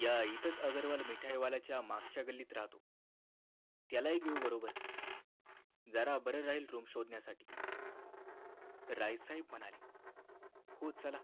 या इथंच अगरवाल मिठाई वालाच्या मागच्या गल्लीत राहतो त्याला हि घेऊ बरोबर जरा बरं जाईल room शोधण्यासाठी राय साहेब म्हणाले हो चला